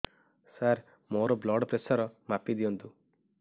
ସାର ମୋର blood pressure ମାପି ଦିଅନ୍ତୁ